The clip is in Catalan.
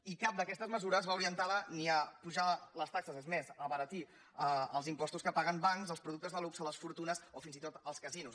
i cap d’aquestes mesures va orientada ni a pujar les taxes és més abaratir els impostos que paguen bancs els productes de luxe les fortunes o fins i tot els casinos